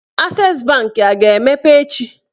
Ases banki a ga-emepe echi?